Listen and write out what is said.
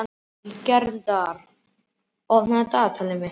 Hildegard, opnaðu dagatalið mitt.